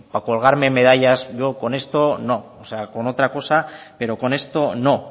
para colgarme medallas yo con esto no o sea con otra cosa pero con esto no